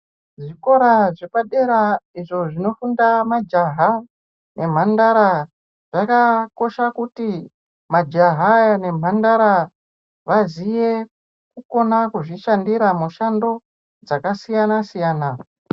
Zvikora zvepadera izvo zvinofunda majaha nemhandara zvakakosha kuti majaha nemhandara vazive kukona kuzvishandira mishando dzakasiyana siyana.